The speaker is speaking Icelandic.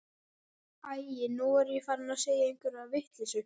Æi, nú er ég farin að segja einhverja vitleysu.